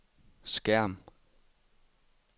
skærm